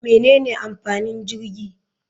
Menene amfanin jirgi?